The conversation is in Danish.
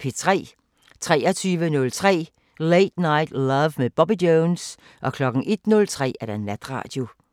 23:03: Late Night Love med Bobby Jones 01:03: Natradio